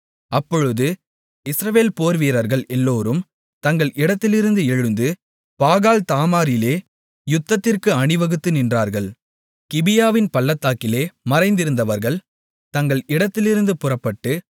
அப்பொழுது இஸ்ரவேல் போர்வீரர்கள் எல்லோரும் தங்கள் இடத்திலிருந்து எழுந்து பாகால்தாமாரிலே யுத்தத்திற்கு அணிவகுத்து நின்றார்கள் கிபியாவின் பள்ளத்தாக்கிலே மறைந்திருந்தவர்கள் தங்கள் இடத்திலிருந்து புறப்பட்டு